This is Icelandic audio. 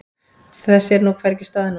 Þess sér hvergi stað nú.